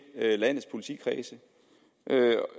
landets politikredse